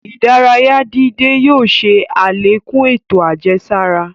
Ìdárayà dídẹ̀ yóò ṣè alẹ́kún ètò ajẹsara.